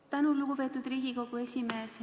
Tänan, lugupeetud Riigikogu esimees!